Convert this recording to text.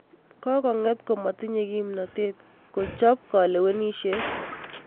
Kokong'et komatinyee kimnateet kochoob kalewenisyet